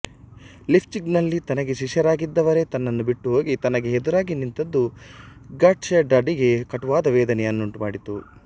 ಲೀಪ್ಜಿಗ್ನಲ್ಲಿ ತನಗೆ ಶಿಷ್ಯರಾಗಿದ್ದವರೇ ತನ್ನನ್ನು ಬಿಟ್ಟುಹೋಗಿ ತನಗೆ ಎದುರಾಗಿ ನಿಂತದ್ದು ಗಾಟ್ಷೆಡ್ಡನಿಗೆ ಕಟುವಾದ ವೇದನೆಯನ್ನುಂಟುಮಾಡಿತು